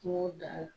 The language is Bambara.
Kungo da la